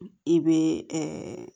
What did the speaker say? I bɛ